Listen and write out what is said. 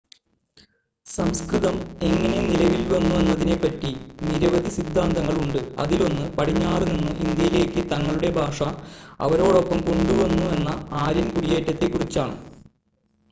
സംസ്‌കൃതം എങ്ങനെ നിലവിൽ വന്നു എന്നതിനെ പറ്റി നിരവധി സിദ്ധാന്തങ്ങൾ ഉണ്ട് അതിലൊന്ന് പടിഞ്ഞാറ് നിന്ന് ഇന്ത്യയിലേക്ക് തങ്ങളുടെ ഭാഷ അവരോടൊപ്പം കൊണ്ടുവന്ന ആര്യൻ കുടിയേറ്റത്തെ കുറിച്ചാണ്